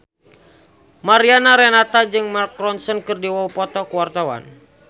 Mariana Renata jeung Mark Ronson keur dipoto ku wartawan